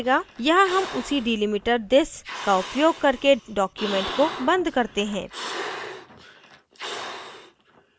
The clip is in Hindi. यहाँ हम उसी delimiter this का उपयोग करके document को बंद करते हैं